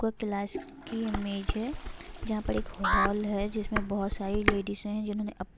कोई क्लास की इमेज है जहाँ पर एक हॉल है जिसमें बहोत सारी लेडिज है जिन्होंने--